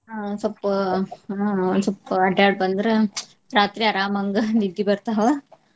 ಅಹ್ ಸ್ವಪ್ಪ ಅಹ್ ಒಂದ್ ಸ್ವಪ್ಪ ಅಡ್ಯಾಡಿ ಬಂದ್ರ ರಾತ್ರಿ ಅರಾಮಂಗ ನಿದ್ದಿ ಬರ್ತಾವ .